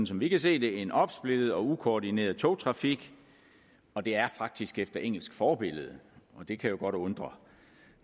som vi kan se det en opsplittet og ukoordineret togtrafik og det er faktisk efter engelsk forbillede og det kan jo godt undre